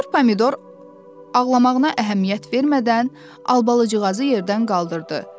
Sinyor Pomidor ağlamağına əhəmiyyət vermədən Albalıcığazı yerdən qaldırdı.